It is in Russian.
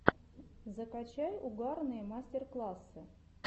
закачай угарные мастер классы